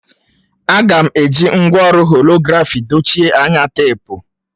A ga-eji ngwa ọrụ holografi dochie anya teepu